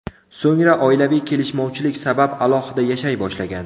So‘ngra oilaviy kelishmovchilik sabab alohida yashay boshlagan.